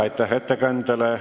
Aitäh ettekandjale!